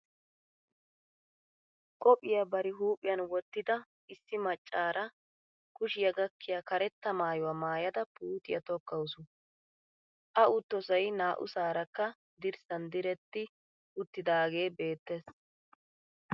Qophiya bari huuphiyan wottida issi maccaara kushiya gakkiya karetta maayuwa maayada puutiya tikkawusu. A uttosay naa"usaarakka dirssan diretti uttidaagee beettees.